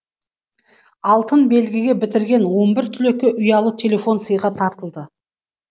алтын белгіге бітірген он бір түлекке ұялы телефон сыйға тартылды